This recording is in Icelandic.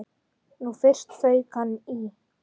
Nú fyrst fauk í hann.